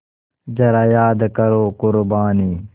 ज़रा याद करो क़ुरबानी